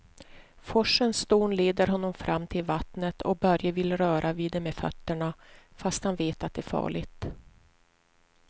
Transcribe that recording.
Forsens dån leder honom fram till vattnet och Börje vill röra vid det med fötterna, fast han vet att det är farligt.